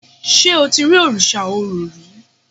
ṣe o ti ri Òrìṣà Orò rí?